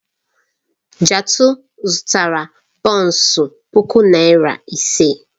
Jatau zụtara bọns puku naira ise.